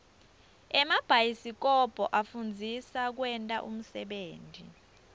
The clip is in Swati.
emabhayisikobho afundzisa kwenta unsebenti